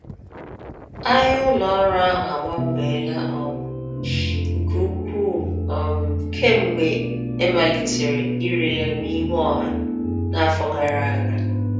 Ahịa ụlọ ọrụ ahụ agbanweela um nke ukwuu um kemgbe e malitere ire ya n’ihu ọha n’afọ gara aga.